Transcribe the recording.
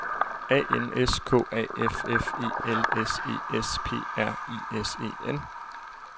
A N S K A F F E L S E S P R I S E N